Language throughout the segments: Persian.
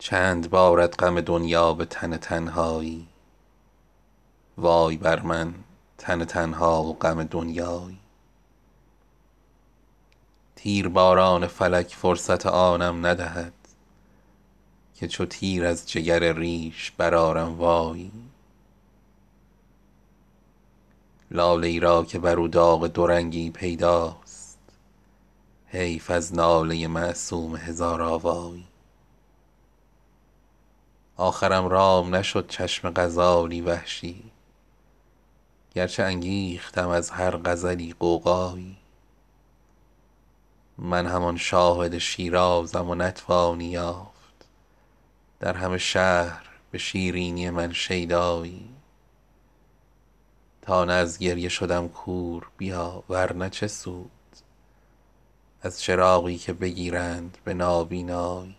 چند بارد غم دنیا به تن تنهایی وای بر من تن تنها و غم دنیایی تیرباران فلک فرصت آنم ندهد که چو تیر از جگر ریش برآرم وایی لاله ای را که بر او داغ دورنگی پیداست حیف از ناله معصوم هزارآوایی آخرم رام نشد چشم غزالی وحشی گرچه انگیختم از هر غزلی غوغایی من همان شاهد شیرازم و نتوانی یافت در همه شهر به شیرینی من شیدایی تا نه از گریه شدم کور بیا ورنه چه سود از چراغی که بگیرند به نابینایی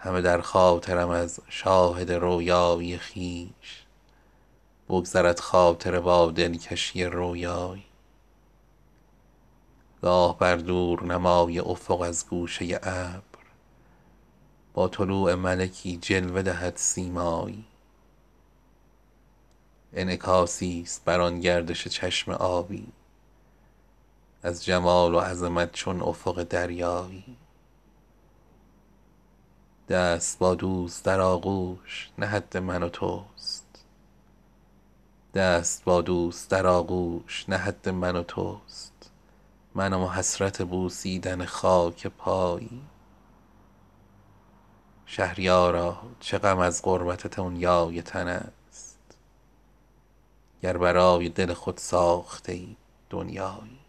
همه در خاطرم از شاهد رؤیایی خویش بگذرد خاطره با دلکشی رؤیایی گاه بر دورنمای افق از گوشه ابر با طلوع ملکی جلوه دهد سیمایی انعکاسی است بر آن گردش چشم آبی از جمال و عظمت چون افق دریایی دست با دوست در آغوش نه حد من و تست منم و حسرت بوسیدن خاک پایی شهریارا چه غم از غربت دنیای تن است گر برای دل خود ساخته ای دنیایی